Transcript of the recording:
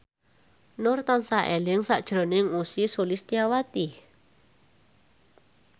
Nur tansah eling sakjroning Ussy Sulistyawati